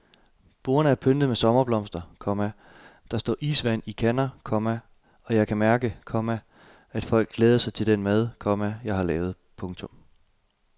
Bordene er pyntet med sommerblomster, komma der står isvand i kander, komma og jeg kan mærke, komma at folk glæder sig til den mad, komma jeg har lavet. punktum